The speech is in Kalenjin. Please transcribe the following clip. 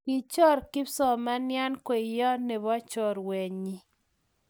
Kichor kipsomanian kweye ne bo chorwenyii